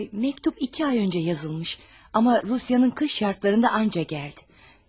Məktub iki ay öncə yazılmış, amma Rusiyanın qış şərtləri ilə ancaq gəldi.